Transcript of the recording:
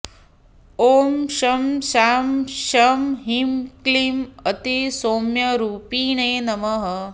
ॐ शं शां षं ह्रीं क्लीं अतिसौम्यरूपिणे नमः